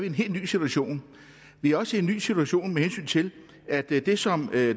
en helt ny situation vi er også i en ny situation med hensyn til at det det som